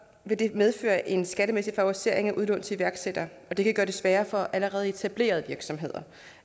det medføre en skattemæssig favorisering af udlån til iværksættere og det kan gøre det sværere for allerede etablerede virksomheder